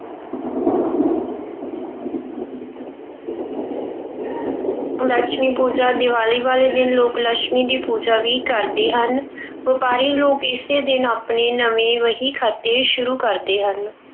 ਲਛਮੀ ਪੂਜਾ- ਦੀਵਾਲੀ ਵਾਲੇ ਦਿਨ ਲੋਕ ਲਛਮੀ ਦੀ ਪੂਜਾ ਵੀ ਕਰਦੇ ਹਨ। ਵਪਾਰੀ ਲੋਕ ਇਸੇ ਦਿਨ ਆਪਣੇ ਨਵੇਂ ਵਹੀਖਾਤੇ ਸ਼ੁਰੂ ਕਰਦੇ ਹਨ।